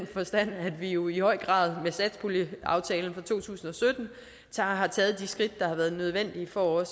vi jo i høj grad med satspuljeaftalen for to tusind og sytten har taget de skridt der har været nødvendige for